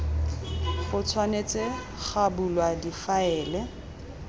go tshwanetse ga bulwa difaele